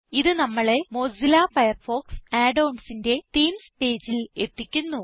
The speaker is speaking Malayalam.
ഇത് നമ്മളെ മൊസില്ല ഫയർഫോക്സ് Add onsന്റെ തീംസ് പേജിൽ എത്തിക്കുന്നു